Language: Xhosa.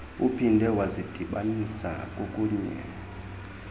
uphinde wazidibanisa kokunye